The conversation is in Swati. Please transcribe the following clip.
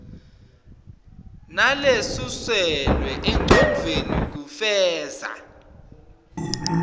nalesuselwe engcondvweni kufeza